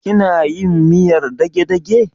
Kina yin miyar dagedage?